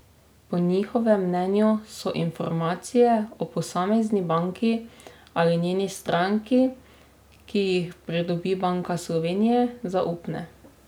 Po njihovem mnenju so informacije o posamezni banki ali njeni stranki, ki jih pridobi Banka Slovenije, zaupne.